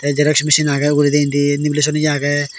te xerox machine aage uguredi indi lumination ye aage.